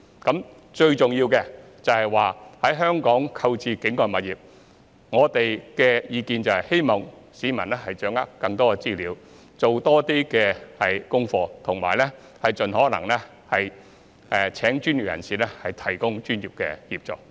我們的意見是，市民在香港購買境外物業，最重要的是掌握更多資料，多做資料搜集，以及盡可能聘請專業人士提供專業協助。